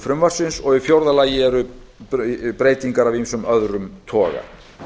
frumvarpsins og í fjórða lagi breytingar af ýmsum öðrum toga